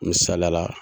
Misaliyala